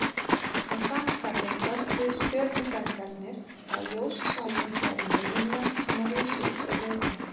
Að sama skapi töldu stjörnufræðingarnir að ljósu svæðin væru meginlönd sem risu upp úr höfunum.